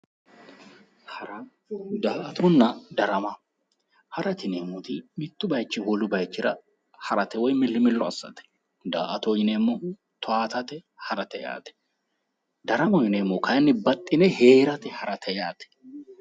Hara daa"atanna darama harate yineemmoti mittu bayichinni wolewa harate woyi millimillo assate daa"atoho yineemmohu toyaatate harate daramaho yineemmohu kayinni baxxxine heerate harate yaate